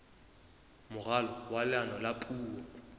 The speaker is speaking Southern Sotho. moralo wa leano la puo